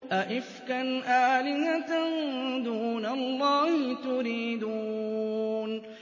أَئِفْكًا آلِهَةً دُونَ اللَّهِ تُرِيدُونَ